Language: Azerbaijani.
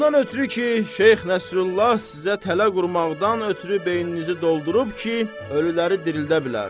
Ondan ötrü ki, Şeyx Nəsrullah sizə tələ qurmaqdan ötrü beyninizi doldurub ki, ölüləri dirildə bilər.